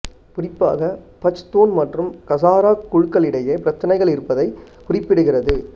குறிப்பாக பச்தூன் மற்றும் கசாரா குழுக்களுக்கிடையே பிரச்சனைகள் இருப்பதைக் குறிப்பிடுகிறது